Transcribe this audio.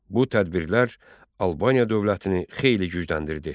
Bu tədbirlər Albaniya dövlətini xeyli gücləndirdi.